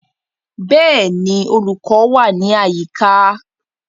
Bẹ́ẹ̀ni, olùkọ́ wà ní àyíká